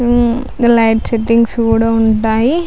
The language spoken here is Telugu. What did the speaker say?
హమ్ లైట్స్ సెట్టింగ్స్ కూడా ఉంటాయి.